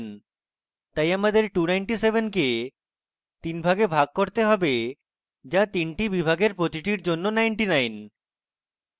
তাই আমাদের 297 কে তিনটি ভাগে ভাগ করতে have so তিনটি বিভাগের প্রতিটির জন্য 99